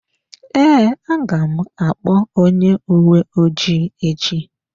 Ee, aga m akpọ onye uwe ojii echi.